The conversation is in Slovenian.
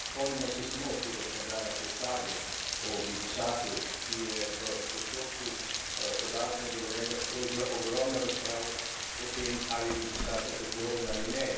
Spomnimo se samo tega škandala, te sage o glifosatu, ki je v postopku podaljšanja dovoljenja sprožila ogromno razprav o tem, ali je glifosat rakotvoren ali ne.